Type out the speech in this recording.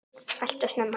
Alltof snemma.